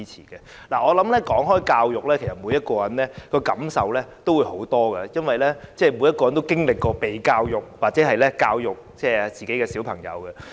談及教育，每個人都感受良多，因為人人都曾經接受教育，又或有教育子女的經驗。